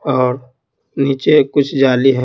और नीचे कुछ जाली है।